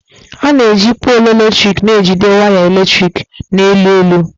A na-eji póolu eletrik na-ejide waya eletrik na elu elu.